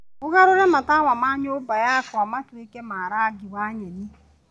ũgarũre matawa ma nyũmba yakwa matuĩke ma rangi wa nyeni